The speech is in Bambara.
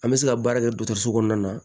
An bɛ se ka baara kɛ dɔgɔtɔrɔso kɔnɔna na